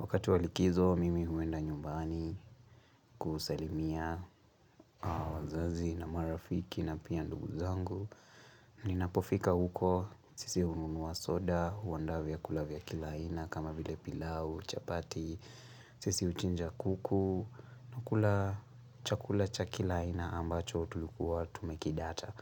Wakati wa likizo, mimi huenda nyumbani kusalimia wazazi na marafiki na pia ndugu zangu. Ninapofika huko, sisi ununuwa soda, huwanda vya kulavya kila ina kama vile pilau, chapati, sisi uchinja kuku. Nakula chakula cha kila ina ambacho tulikuwa tumekidata.